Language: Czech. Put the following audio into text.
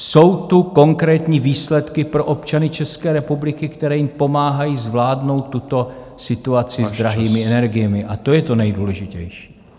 Jsou tu konkrétní výsledky pro občany České republiky, které jim pomáhají zvládnout tuto situaci s drahými energiemi, a to je to nejdůležitější.